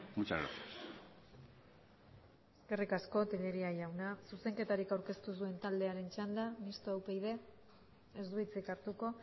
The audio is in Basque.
muchas gracias eskerrik asko tellería jauna zuzenketarik aurkeztu ez duen taldearen txanda mistoa upyd ez du hitzik hartuko